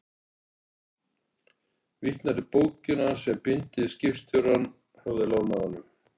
Vitnar í bókina sem blindi skipstjórinn hafði lánað honum.